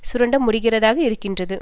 சுரண்ட முடிகிறதாக இருக்கின்றது